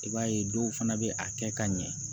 I b'a ye dɔw fana bɛ a kɛ ka ɲɛ